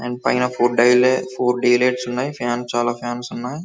And పైన four day lights and చాల fans ఉన్నాయి .